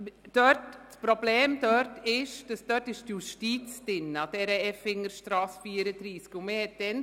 Das Problem dort ist, dass sich an der Effingerstrasse 34 die Justiz befindet.